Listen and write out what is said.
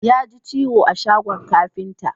Ya ji ciwo a shagon kafinta